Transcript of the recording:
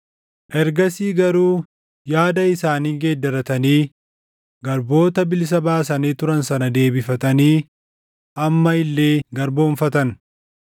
Ergasii garuu yaada isaanii geeddaratanii garboota bilisa baasanii turan sana deebifatanii amma illee garboomfatan.